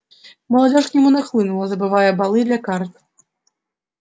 молодёжь к нему нахлынула забывая балы для карт